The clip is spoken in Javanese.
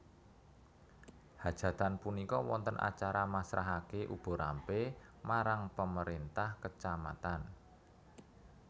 Hajatan punika wonten acara masrahaken uba rampe marang Pemerintah Kecamatan